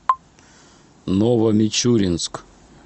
новомичуринск